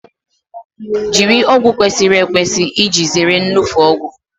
Jiri ọgwụ kwesịrị ekwesị iji zere iṅufe ọgwụ